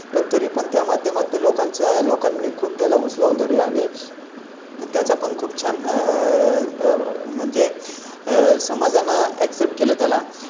पण तरी पण त्या माध्यमातून लोकांच्या लोकांनी खूप त्याला उचलून धर ला आणि. त्याचा पण खूप छान आहे. म्हणजे आह समजा ना Access केलं त्याला